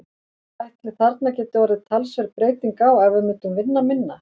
Ætli þarna gæti orðið talsverð breyting á ef við myndum vinna minna?